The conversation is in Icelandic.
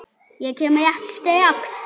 Ég kem rétt strax.